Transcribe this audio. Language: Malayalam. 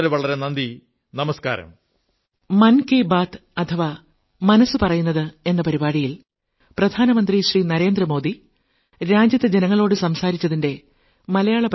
വളരെ വളരെ നന്ദി നമസ്കാരം